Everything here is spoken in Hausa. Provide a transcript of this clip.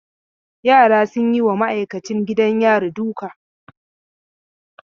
Yara sun yi wa ma'aikacin gidan yari duka.